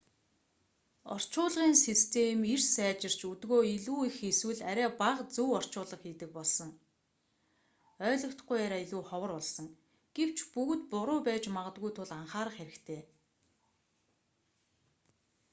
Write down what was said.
орчуулгын систем эрс сайжирч өдгөө илүү их эсвэл арай бага зөв орчуулга хийдэг болсон ойлгогдохгүй яриа илүү ховор болсон гэвч бүгд буруу байж магадгүй тул анхаарах хэрэгтэй